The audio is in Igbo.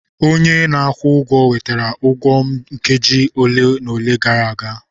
Onye a na-akwụ ụgwọ wetara ụgwọ m nkeji ole na ole gara aga.